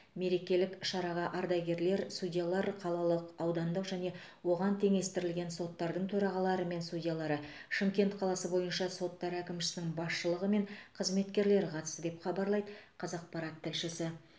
мерекелік шараға ардагер судьялар қалалық аудандық және оған теңестірілген соттардың төрағалары мен судьялары шымкент қаласы бойынша соттар әкімшісінің басшылығы мен қызметкерлері қатысты деп хабарлайды қазақпарат тілшісі